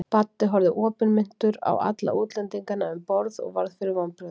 Baddi horfði opinmynntur á alla útlendingana um borð og varð fyrir vonbrigðum.